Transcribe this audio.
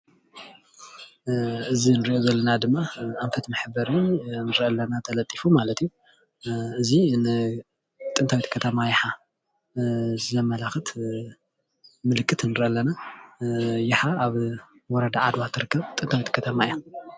እዚ ንሪኦ ዘለና ድማ ኣንፈት መሕበሪ ንሪኦ ኣለና ተለጢፉ ማለት እዩ እዚ ንጥንታዊት ከተማ ይሓ ዘመላክት ምልክት ንርኢ ኣለና ይሓ ኣብ ወርዳ ዓድዋ ትርከብ ጥንታዊት ከተማ እያ።